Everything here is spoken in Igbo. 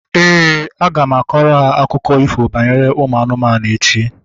Éè, aga m akọrọ ha akụkọ ifo banyere ụmụ anụmanụ echi